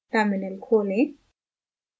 terminal खोलें